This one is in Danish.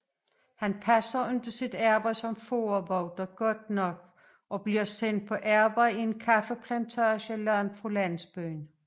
Han passer ikke sit arbejde som fårevogter godt nok og bliver sendt på arbejde i en kaffeplantage langt fra landsbyen